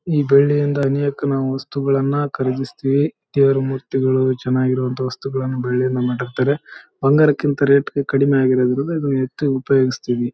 ಈ ಬೆಳ್ಳಿಯಿಂದ ಅನೇಕ ನಾವು ವಸ್ತುಗಳನ್ನು ಕಲಗಿಸ್‌ತೀವಿ ತೇರು ಮೂರ್ತಿಗಳು ಚೆನ್ನಾಗಿರುವಂತ ವಸ್ತುಗಳನ್ನು ಬೆಳ್ಳಿಯಿಂದ ಮಾಡಿರ್ತಾರೆ ಬಂಗಾರಕ್ಕಿಂತ ರೇಟ್‌ ಕಡಿಮೆಯಾಗಿರೋದ್ರಿಂದ ಇದನ್ನು ಹೆಚ್ಚು ಉಪಯೋಗಿಸ್‌ತೀವಿ.